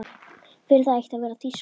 Fyrir það eitt að vera þýskur.